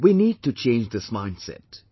We need to change this mindset